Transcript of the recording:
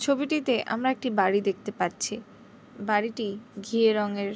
ছবিটিতে আমরা একটি বাড়ি দেখতে পাচ্ছি বাড়িটি ঘিয়ে রঙের --